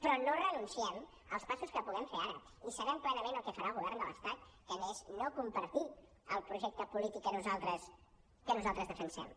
però no renunciem als passos que puguem fer ara i sabem plenament el que farà el govern de l’estat que és no compartir el projecte polític que nosaltres defensem